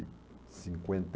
cinquenta e